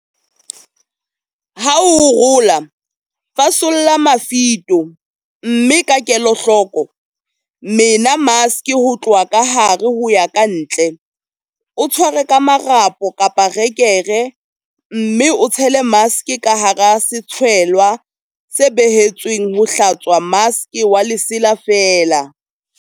Ha o rola, fasolla mafito, mme ka kelahloko, mena maske ho tloha ka hare ho ya kantle, o tshware ka marapo, rekere mme o tshele maske ka hara setshwelwa se behetsweng ho hlatswa maske wa lesela feela.8.